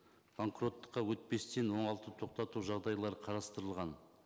банкроттыққа өтпестен оңалту тоқтату жағдайлары қарастылған